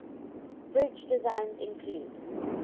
bridge designs include